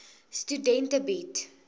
studente bied